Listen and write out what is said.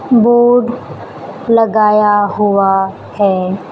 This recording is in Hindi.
बोर्ड लगाया हुआ है।